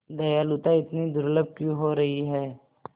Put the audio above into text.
दयालुता इतनी दुर्लभ क्यों हो रही है